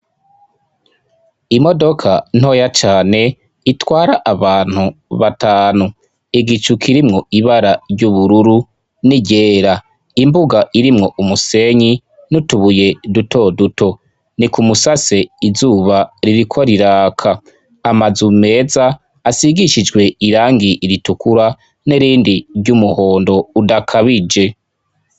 Imodoka ntoya cane itwara abantu batanu igicu kirimwo ibara ry'ubururu niryera imbuga irimwo umusenyi ntutubuye duto duto ni ku musase izuba ririkwa riraka amaze umeza asigishijwe irangi iritukura nirindi ry'umuhondo udakabije.